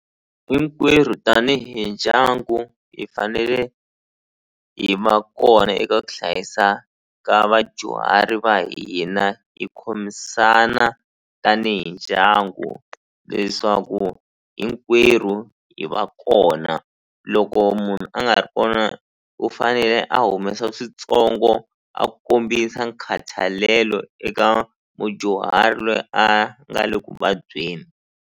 Hinkwerhu tanihi ndyangu hi fanele hi va kona eka ku hlayisa ka vadyuhari va hina hi khomisana tanihi ndyangu leswaku hinkwerhu hi va kona loko munhu a nga ri kona u fanele a humesa swintsongo a kombisa nkhathalelo eka mudyuhari loyi a nga le ku vabyeni.